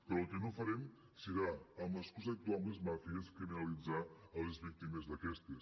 però el que no farem serà amb l’excusa d’actuar amb les màfies criminalitzar les víctimes d’aquestes